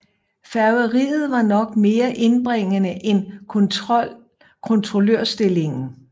Færgeriet var nok mere indbringende end kontrollørstillingen